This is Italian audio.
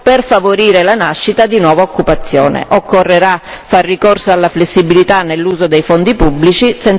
Occorrerà far ricorso alla flessibilità nell'uso dei fondi pubblici, senza la quale difficilmente si potrà avviare la crescita.